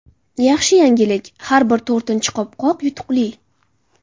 Yaxshi yangilik: har bir to‘rtinchi qopqoq yutuqli.